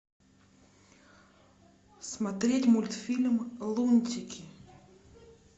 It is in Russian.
смотреть мультфильм лунтики